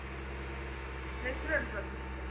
natural process ରେ